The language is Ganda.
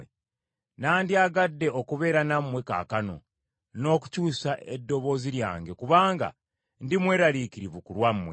nandyagadde okubeera nammwe kaakano, n’okukyusa eddoboozi lyange kubanga ndi mweraliikirivu ku lwammwe.